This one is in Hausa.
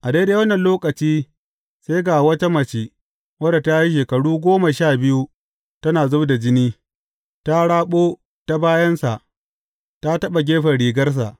A daidai wannan lokaci sai ga wata mace wadda ta yi shekaru goma sha biyu tana zub da jini ta raɓo ta bayansa ta taɓa gefen rigarsa.